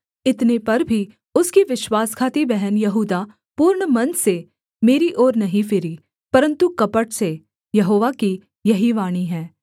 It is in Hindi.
इतने पर भी उसकी विश्वासघाती बहन यहूदा पूर्ण मन से मेरी ओर नहीं फिरी परन्तु कपट से यहोवा की यही वाणी है